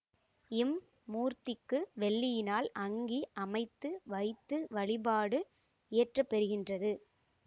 இம் மூர்த்திக்கு வெள்ளியினால் அங்கி அமைத்து வைத்து வழிபாடு இயற்றப்பெறுகின்றது